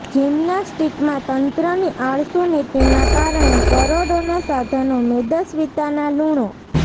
જીમ્નાસ્ટીકમાં તંત્રની આળસુ નીતીના કારણે કરોડોના સાધનો મેદસ્વીતાના લૂણો